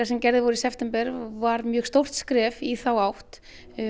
sem gerðir voru í september voru mjög stórt skref í þá átt